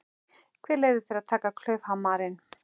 Hver leyfði þér að taka klaufhamarinn?